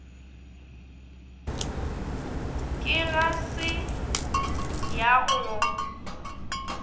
ke ga se ya go